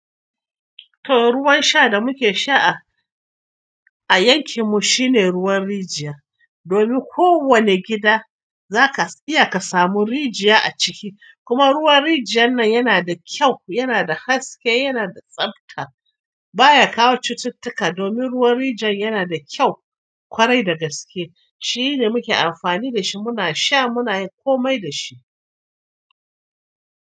To ruwan sha da muke sha a yankin mu shine ruwan rijiya. Domin ko wane gida zaka iya ka samu rijiya a ciki. Kuma ruwan rijiyan nan yana da kyau, yana da haske, yana da tsafta baya kawo cututtuka. Domin ruwan rijiya yana da kyau ƙwarai da gaske shine muke amfani da shi muna sha muna yi komai da shi.